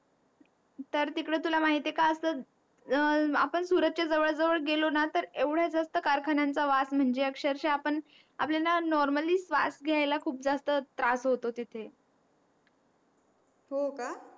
तर तिकडे तुला माहिती आहे का असं आपण सुरत च्या जवड जवड गेलो ना तर एवढ्या जास्त कारखान्यांचा वास म्हणजे अक्षरशः आपण आपल्याला नॉर्मली श्वास घ्यायला खूप जास्त त्रास होतो तिथे हो का